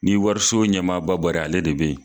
Ni wariso ɲɛmaa ba bɔra ye ale de bɛ yen.